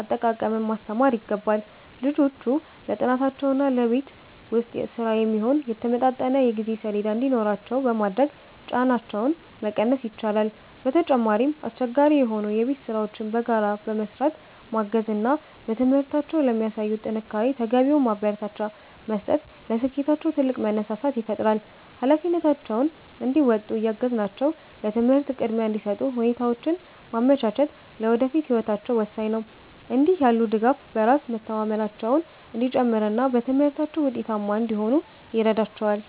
አጠቃቀምን ማስተማር ይገባል። ልጆቹ ለጥናታቸውና ለቤት ውስጥ ሥራ የሚሆን የተመጣጠነ የጊዜ ሰሌዳ እንዲኖራቸው በማድረግ ጫናቸውን መቀነስ ይቻላል። በተጨማሪም፣ አስቸጋሪ የሆኑ የቤት ሥራዎችን በጋራ በመሥራት ማገዝ እና በትምህርታቸው ለሚያሳዩት ጥንካሬ ተገቢውን ማበረታቻ መስጠት ለስኬታቸው ትልቅ መነሳሳት ይፈጥራል። ኃላፊነታቸውን እንዲወጡ እያገዝናቸው ለትምህርት ቅድሚያ እንዲሰጡ ሁኔታዎችን ማመቻቸት ለወደፊት ህይወታቸው ወሳኝ ነው። እንዲህ ያለው ድጋፍ በራስ መተማመናቸው እንዲጨምርና በትምህርታቸው ውጤታማ እንዲሆኑ ይረዳቸዋል።